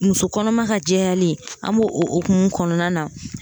Muso kɔnɔma ka jɛyali an b'o o hukumu kɔnɔna na